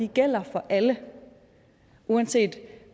gælder for alle uanset